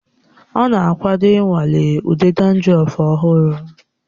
Ọ na-akwado ịnwale ude dandrọf ọhụrụ